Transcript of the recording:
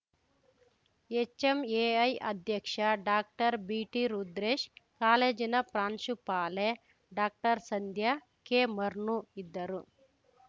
HMAI ಅಧ್ಯಕ್ಷ ಡಾಕ್ಟರ್ಬಿಟಿರುದ್ರೇಶ್‌ ಕಾಲೇಜಿನ ಪ್ರಾಂಶುಪಾಲೆ ಡಾಕ್ಟರ್ಸಂಧ್ಯಾ ಕೆಮರ್ನೂ ಇದ್ದರು